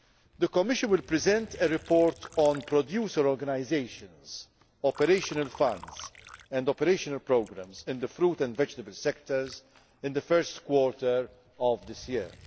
The Commission will present a report on producer organisations, operational funds and operational programmes in the fruit and vegetable sectors in the first quarter of this year.